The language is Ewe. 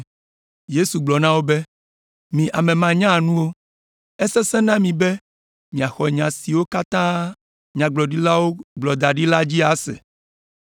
Yesu gblɔ na wo be, “Mi ame manyanuwo! Esesẽna na mi be miaxɔ nya siwo katã nyagblɔɖilawo gblɔ da ɖi la dzi ase!